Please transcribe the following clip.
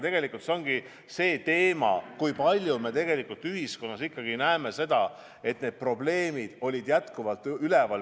Tegelikult ongi see teema, kui palju me ühiskonnas ikkagi näeme seda, et teatud probleemid on jätkuvalt üleval.